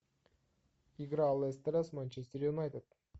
игра лестера с манчестер юнайтед